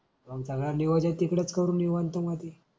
आमच गांडीवदे तिकडेच करु निवांत मधी.